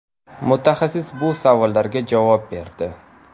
Mutaxassis bu savollarga javob berdi.